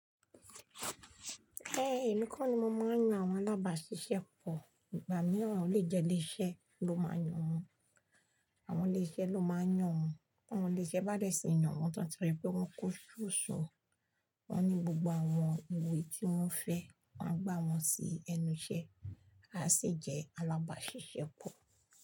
Ẹ́, èmi kọ́ ni mo máa ń yan àwọn alábàáṣiṣẹ́ pọ̀. Ìgbà mìíràn, olè jẹ ilé iṣẹ́ ló máa ń yàn wọn. Àwọn ilé iṣẹ́ ló máa ń yàn wọn. Ti Àwọn ilé iṣẹ́ bá dẹ̀ tí yàn wọn ti wán tirí pé wọ́n kó sóṣo. Wọ́n ní gbogbo àwọn ìwé tí wọ́n fẹ́, wọ́n gbà wọ́n sí ẹnu iṣẹ́. A sì jẹ́ alábàáṣiṣẹ́ pọ̀